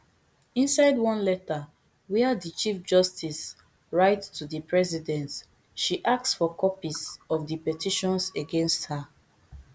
inside one letter wia di chief justice writeto di president she ask for copies of di petitions against her